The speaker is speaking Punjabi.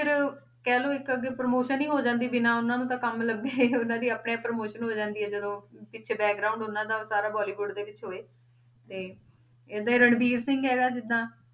ਫਿਰ ਕਹਿ ਲਓ ਇੱਕ ਅੱਗੇ promotion ਹੀ ਹੋ ਜਾਂਦੀ ਬਿਨਾਂ ਉਹਨਾਂ ਨੂੰ ਤਾਂ ਕੰਮ ਲੱਭੇ ਉਹਨਾਂ ਦੀ ਆਪਣੇ ਆਪ promotion ਹੋ ਜਾਂਦੀ ਹੈ ਜਦੋਂ ਪਿੱਛੇ ਉਹਨਾਂ ਦਾ ਸਾਰਾ ਬੋਲੀਵੁਡ ਦੇ ਵਿੱਚ ਹੋਵੇ ਤੇ ਏਦਾਂ ਹੀ ਰਣਵੀਰ ਸਿੰਘ ਹੈਗਾ ਜਿੱਦਾਂ,